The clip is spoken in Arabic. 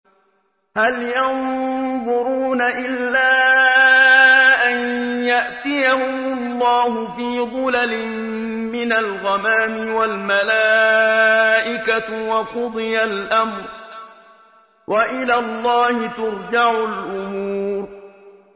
هَلْ يَنظُرُونَ إِلَّا أَن يَأْتِيَهُمُ اللَّهُ فِي ظُلَلٍ مِّنَ الْغَمَامِ وَالْمَلَائِكَةُ وَقُضِيَ الْأَمْرُ ۚ وَإِلَى اللَّهِ تُرْجَعُ الْأُمُورُ